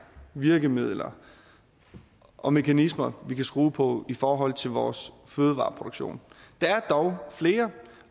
virkemidler og mekanismer vi kan skrue på i forhold til vores fødevareproduktion der er dog flere